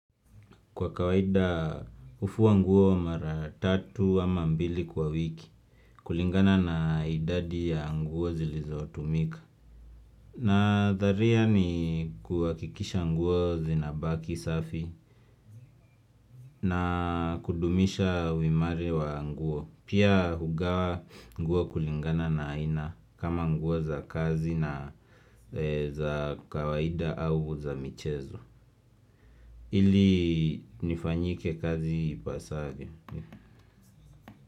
Kwa kawaida hufua nguo mara tatu ama mbili kwa wiki kulingana na idadi ya nguo zilizotumika na tharia ni kuwakikisha nguo zinabaki safi na kudumisha wimari wa nguo Pia hugawa nguo kulingana na aina kama nguo za kazi na za kawaida au za michezo Ili nifanyike kazi ipasavyo.